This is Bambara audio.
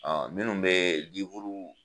minnu bɛ